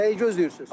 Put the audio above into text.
Nəyi gözləyirsiz?